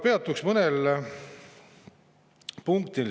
Peatuks mõnel punktil.